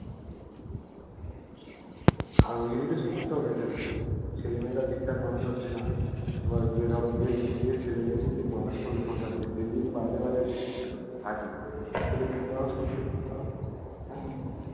আর ঐ জন্যই তো সমস্যা বেড়েছে এখন ছেলেমেয়েরা ঠিকঠাক মানুষ হচ্ছেনা এবার গিয়ে ধরো যে ছলেমেয়াদের মানুষ করবে সন্তানদের সেজদি বাইরে বাইরে থাকে ছেলেমেয়েকে মানুষ করবে কে হ্যা